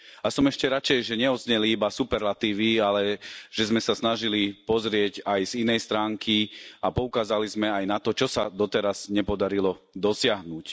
A som ešte radšej, že neodzneli iba superlatívy, ale že sme sa snažili pozrieť aj z inej stránky a poukázali sme aj na to, čo sa doteraz nepodarilo dosiahnuť.